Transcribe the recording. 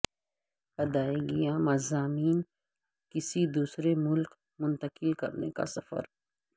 ادائیگیاں مضامین کسی دوسرے ملک منتقل کرنے کا سفر